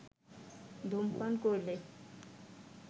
ধূমপান করলে